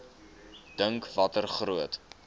dink watter groot